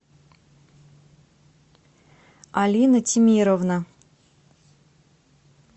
алина тимировна